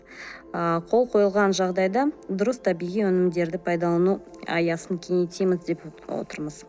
ы қол қойылған жағдайда дұрыс табиғи өнімдерді пайдалану аясын кеңейтеміз деп отырмыз